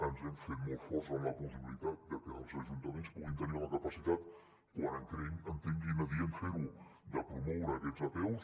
ens hem fet molt forts en la possibilitat de que els ajuntaments puguin tenir la capacitat quan entenguin adient fer ho de promoure aquestes apeus